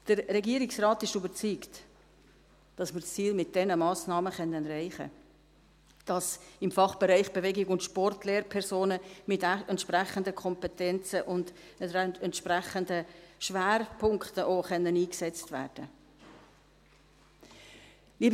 Der Regierungsrat ist überzeugt, dass wir mit diesen Massnahmen das Ziel erreichen können, dass nämlich im Fachbereich Bewegung und Sport Lehrpersonen mit entsprechenden Kompetenzen und auch mit entsprechenden Schwerpunkten eingesetzt werden können.